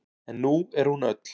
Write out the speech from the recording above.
En nú er hún öll.